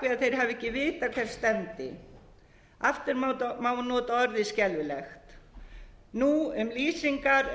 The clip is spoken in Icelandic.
þeir hafi ekki vitað hvert stefndi aftur má nota orðið skelfilegt nú um lýsingar